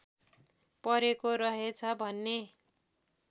परेको रहेछ भन्ने